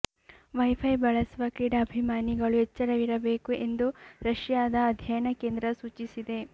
wifi ಬಳಸುವ ಕ್ರೀಡಾಭಿಮಾನಿಗಳು ಎಚ್ಚರವಿರಬೇಕು ಎಂದು ರಶ್ಯಾದ ಅಧ್ಯಯನ ಕೇಂದ್ರ ಸೂಚಿಸಿದೆ